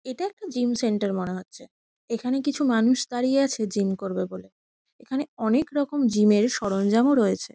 এটা একটা gym centre মনে হচ্ছে। এখানে কিছু মানুষ দাঁড়িয়ে আছে জিম করবে বলে। এখানে অনেকরকম জিম -এর সরঞ্জামও রয়েছে।